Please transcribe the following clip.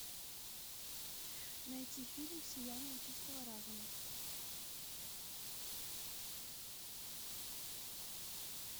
найти фильм сияние чистого разума